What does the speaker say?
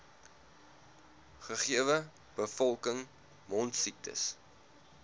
gegewe bevolking mondsiektes